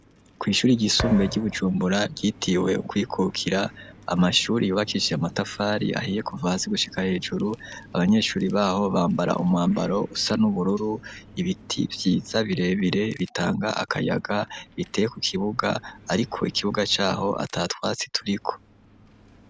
Kwishuri ryisumbuye ryi Bujumbura ryitiwe kwikukira amashuri yubakisije matafari ahiye kuva hasi gushika hejuru abanyeshuri baho bambara umwambaro usa n'ubururu ibiti byiza birebire bitanga akayaga biteye ku kibuga ariko ikibuga caho atatwatsi turiko.